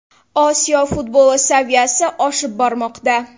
Osiyo futboli saviyasi oshib bormoqda.